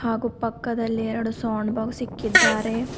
ಹಾಗೂ ಪಕ್ಕದಲ್ಲಿ ಎರಡು ಸೌಂಡ್ ಬಾಕ್ಸ್ ಇಕ್ಕಿದ್ದಾರೆ.